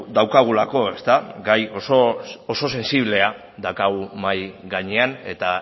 daukagulako gai oso sentsiblea daukagu mahai gainean eta